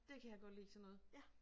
Det kan jeg godt lide sådan noget